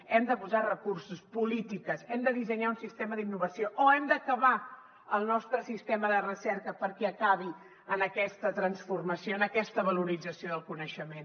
hem de posar recursos polítiques hem de dissenyar un sistema d’innovació o hem d’acabar el nostre sistema de recerca perquè acabi en aquesta transformació en aquesta valorització del coneixement